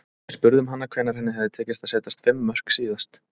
Við spurðum hana hvenær henni hefði tekist að setja fimm mörk síðast.